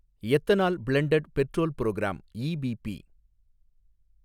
ethanol blended petrol programme, EBP